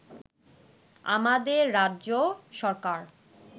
আমাদের রাজ্য সরকার